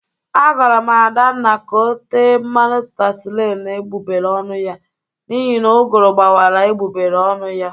Agwara m Adanna ka o tee mmanụ vasilini n'egbụgbere ọnụ ya n'ihi na ụgụrụ gbawara egbụgbere ọnụ ya